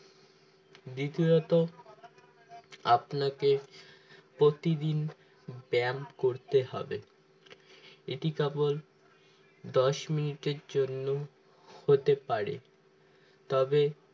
দ্বিতীয়ত আপনাকে প্রতিদিন ব্যায়াম করতে হবে এটি কেবল দশ মিনিটের জন্য হতে পারে তবে